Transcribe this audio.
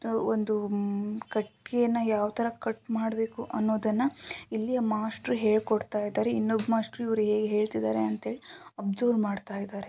ಒಂದು ಉಮ್ಮ್ ಕಟ್ಗೆಯನ್ನ ಯಾವ್ತರ ಕಟ್ ಮಾಡ್ಬೇಕು ಅನ್ನೋದನ್ನ ಇಲ್ಲಿಯ ಮಾಸ್ಟ್ರು ಹೇಳ್ಕೊಡ್ತಾಇದ್ದಾರೆ. ಇನ್ನೊಬ್ ಮಾಸ್ಟ್ರು ಇವ್ರು ಹೇಗೆ ಹೇಳ್ತಿದ್ದಾರೆ ಅಂತ ಅಬ್ಸರ್ವ್ ಮಾಡ್ತಾ ಇದ್ದಾರೆ.